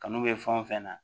Kanu bɛ fɛn o fɛn na